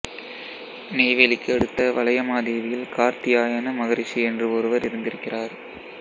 நெய்வேலிக்கு அடுத்த வளையமாதேவியில் கார்த்தியாயன மகரிஷி என்று ஒருவர் இருந்திருக்கிறார்